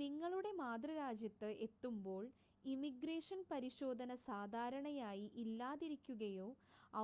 നിങ്ങളുടെ മാതൃരാജ്യത്ത് എത്തുമ്പോൾ ഇമിഗ്രേഷൻ പരിശോധന സാധാരണയായി ഇല്ലാതിരിക്കുകയോ